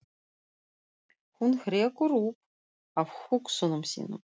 Hún hrekkur upp af hugsunum sínum.